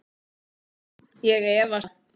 Ég efast um það.